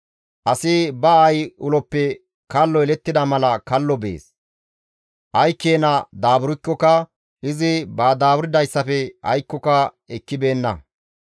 Asi ba aayi uloppe kallo yelettida mala kallo bees; ay keena daaburkkoka izi ba daaburdayssafe aykkoka ekkibeenna.